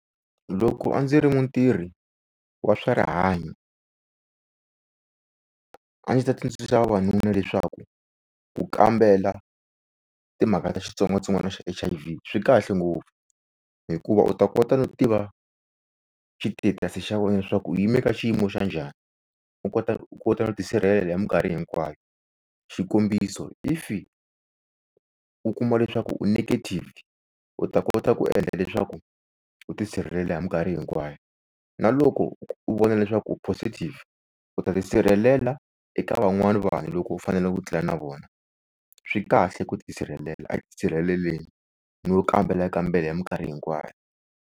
Loko a ndzi ri mutirhi wa swa rihanyo, a ndzi ta tsundzuxa vavanuna leswaku ku kambela timhaka ta xitsongwatsongwana xa H_I_V. Swi kahle ngopfu hikuva u ta kota no tiva xi status xa wena swa ku u yime ka xiyimo xa njhani, u kota u kota ku tisirhelela minkarhi hinkwayo. Xikombiso if u kuma leswaku u negative u ta kota ku endla leswaku u tisirhelela mikarhi hinkwayo, na loko u vona leswaku u positive u ta tisirhelela eka van'wani vanhu loko u fanele u tlela na vona. Swi kahle ku tisirhelela a hi tisirheleleni ni wo kambela kambela minkarhi hinkwayo.